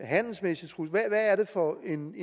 handelsmæssig trussel hvad er det for en